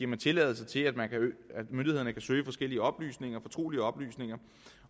man tilladelse til at myndighederne kan søge forskellige oplysninger fortrolige oplysninger